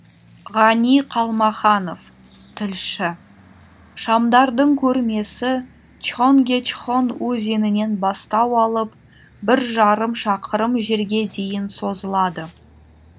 ғани қалмаханов тілші шамдардың көрмесі чхонгечхон өзенінен бастау алып бір жарым шақырым жерге дейін созылады